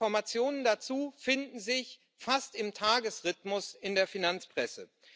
Die Informationen dazu finden sich fast im Tagesrhythmus in der Finanzpresse.